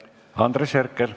Andres Herkel.